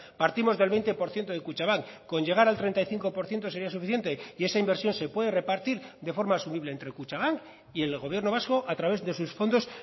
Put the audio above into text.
partimos del veinte por ciento de kutxabank con llegar al treinta y cinco por ciento sería suficiente y esa inversión se puede repartir de forma asumible entre kutxabank y el gobierno vasco a través de sus fondos